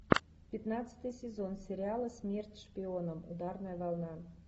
пятнадцатый сезон сериала смерть шпионам ударная волна